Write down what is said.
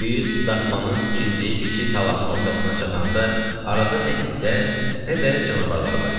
Biz daxmanın tikildiyi kiçik talanın ortasına çatanda arada nə itlər, nə də canavarlar var idi.